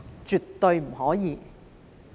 絕對不可以。